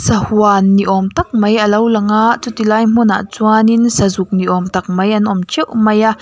sahuan ni awm tak mai alo lang a chuti lai hmunah chuanin sazuk ni awm tak mai an awm teuh mai a.